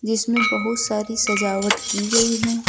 जिसमें बहुत सारी सजावट की गई है।